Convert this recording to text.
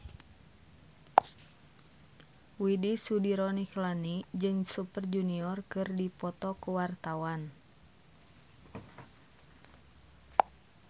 Widy Soediro Nichlany jeung Super Junior keur dipoto ku wartawan